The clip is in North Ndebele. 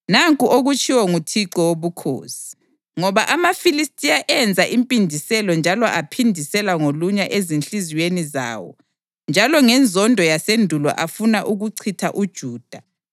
“Nanku okutshiwo nguThixo Wobukhosi: ‘Ngoba amaFilistiya enza impindiselo njalo aphindisela ngolunya ezinhliziyweni zawo, njalo ngenzondo yasendulo afuna ukuchitha uJuda,